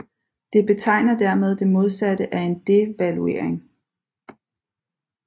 Det betegner dermed det modsatte af en devaluering